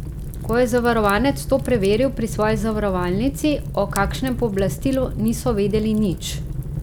Ko je zavarovanec to preveril pri svoji zavarovalnici, o kakšnem pooblastilu niso vedeli nič.